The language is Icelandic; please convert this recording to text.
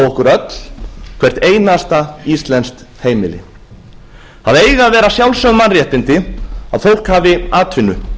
okkur öll hvert einasta íslenskt heimili það eiga að vera sjálfsögð mannréttindi að fólk hafi atvinnu